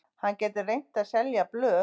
Hann gæti reynt að selja blöð.